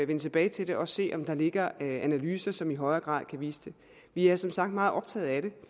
vende tilbage til det og se om der ligger analyser som i højere grad kan vise det vi er som sagt meget optaget af det